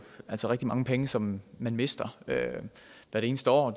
altså rigtig mange penge som man mister hvert eneste år